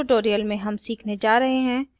इस tutorial में हम सीखने जा रहे हैं